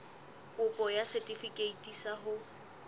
kopo ya setefikeiti sa ho